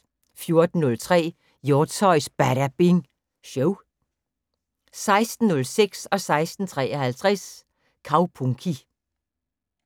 14:03: Hjortshøjs Badabing Show 16:06: Kaupunki 16:53: Kaupunki